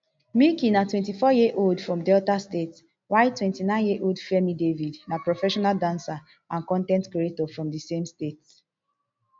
michky na twenty-fouryearold from delta state while twenty-nineyearold fairme david na professional dancer and con ten t creator from di same state